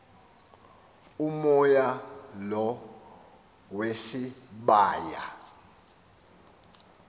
umoya lo wesibaya